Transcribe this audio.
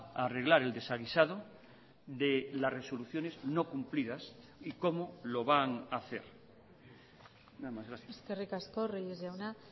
a arreglar el desaguisado de las resoluciones no cumplidas y cómo lo van a hacer eskerrik asko reyes jauna